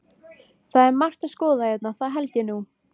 Það er margt að skoða hérna, það held ég nú.